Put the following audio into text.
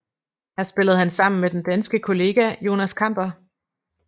Her spillede han sammen med den danske kollega Jonas Kamper